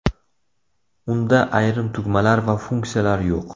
Unda ayrim tugmalar va funksiyalar yo‘q.